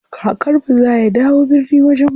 Kakar mu za ya dawo birni wajen mu.